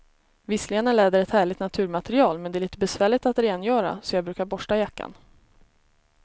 Visserligen är läder ett härligt naturmaterial, men det är lite besvärligt att rengöra, så jag brukar borsta jackan.